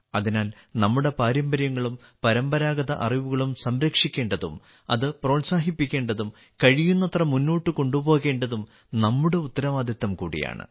അതിനാൽ നമ്മുടെ പാരമ്പര്യങ്ങളും പരമ്പരാഗത അറിവുകളും സംരക്ഷിക്കേണ്ടതും അത് പ്രോത്സാഹിപ്പിക്കേണ്ടതും കഴിയുന്നത്ര മുന്നോട്ട് കൊണ്ടുപോകേണ്ടതും നമ്മുടെ ഉത്തരവാദിത്തം കൂടിയാണ്